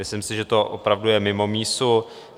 Myslím si, že to opravdu je mimo mísu.